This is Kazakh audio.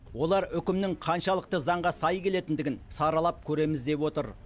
олар үкімнің қаншалықты заңға сай келетіндігін саралап көреміз деп отыр